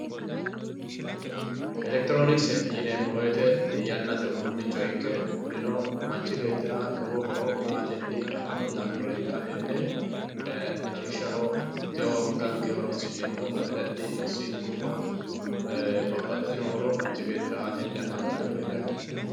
Electironksete yinemo woyite yanate udunicho ikke kunino manchi beetira lowo horo aateni afamano lawishshaho tewo anganke horonsinemota silke babaxitino horo manchi betira aateni afantano yaate.